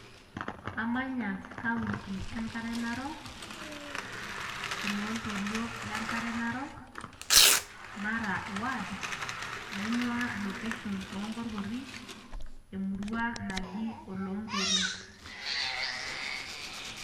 Amanya county Enkare Narok ,oloontoluo le Enkare Narok ,Mara ward ,naingwaa location oo nkorkori ,emurua naji oloonkerin.